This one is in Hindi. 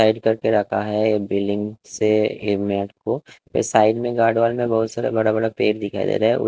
टाइट करके रखा हैं बिल्डिंग से ए मैट को फिर साइड में गारडोल वाले में बहोत बड़े- बड़े पेड़ दिखाई दे रहे हैं।